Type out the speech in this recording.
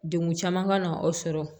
Degun caman ka na aw sɔrɔ